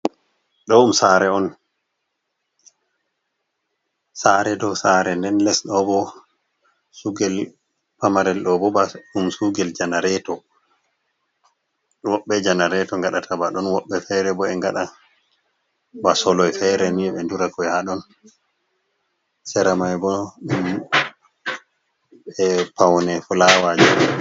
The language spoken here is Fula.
Ɗo Sare on, sare dow sare, nden lesɗobo sugel pamarel. ɗo bo ba ɗum sugel janareto woɓɓe janareto ngaɗata ba ɗon, woɓɓe fere bo e ngaɗa ba soloi fere nii ɓe durakoi haɗon seramai bo be paune fulawaji.